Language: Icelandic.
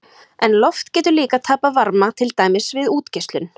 En loft getur líka tapað varma, til dæmis við útgeislun.